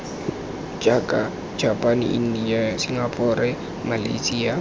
jaaka japane india singapore malyasia